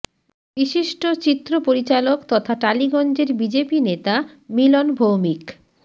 বিশিষ্ট চিত্র পরিচালক তথা টালিগঞ্জের বিজেপি নেতা মিলন ভৌমিক